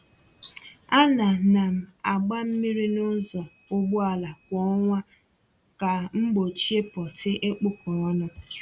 A na na m agba mmiri n’ụzọ ụgbọala kwa ọnwa ka m gbochie pọtị ịkpụkọ ọnụ